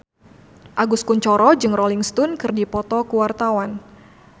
Agus Kuncoro jeung Rolling Stone keur dipoto ku wartawan